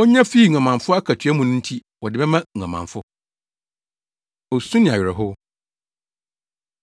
onya fii nguamanfo akatua mu no nti wɔde bɛma nguamanfo.” Osu Ne Awerɛhow